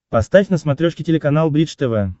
поставь на смотрешке телеканал бридж тв